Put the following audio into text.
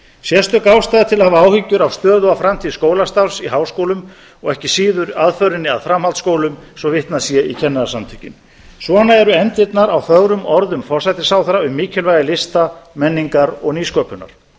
sérstök ástæða er til að hafa áhyggjur af stöðu og framtíð skólastarfs í háskólum og ekki síður aðförinni að í framhaldsskólum svo vitnað sé í kennarasamtökin svona eru efndirnar á fögrum orðum forsætisráðherra um mikilvægi lista menningar og nýsköpunar